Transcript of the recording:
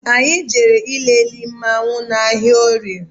Anyị jere ịlele mmanwu n' ahịa orie